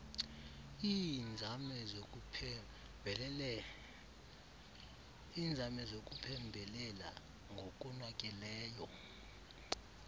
iinzame zokuphembelela ngokonakeleyo